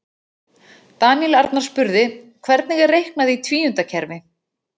Daníel Arnar spurði: Hvernig er reiknað í tvíundakerfi?